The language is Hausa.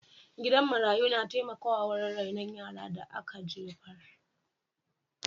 Gidan marayu na taimakawa wurin rainon yaran da ka jefar.